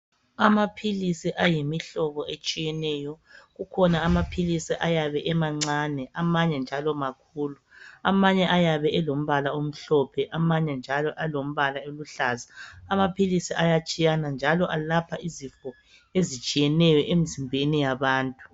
Amaphilisi ayimihlobo etshiyeneyo kukhona amaphilisi ayabe emancane, amanye njalo makhulu. Amanye ayabe elombala omhlophe amanye njalo elombala eluhlaza. Amaphilisi ayatshiyana njalo alapha izifo ezitshiyeneyo emzimbeni yabantu.